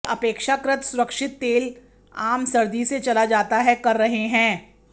वे अपेक्षाकृत सुरक्षित तेल आम सर्दी से चला जाता है कर रहे हैं